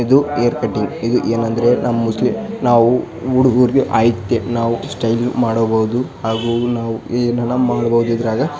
ಇದು hair cutting ಇದು ಏನಂದ್ರೆ ನಮ ಮುಸ್ಲಿಂ ನಾವು ಹುಡುಗರಿಗೆ ಅಯ್ತೆ ನಾವು ಸ್ಟೈಲ್ ಮಾಡಬಹುದು ಹಾಗು ನಾವು ಏನಾರ ಮಾಡಬಹುದು ಇದರಾಗ .